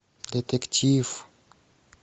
детектив